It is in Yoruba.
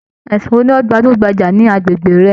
Ẹsìn wo ni o gbajúgbajà ní agbègbè rẹ?